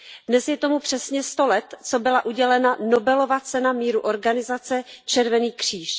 Dnes je tomu přesně sto let, co byla udělena Nobelova cena míru organizaci Červený kříž.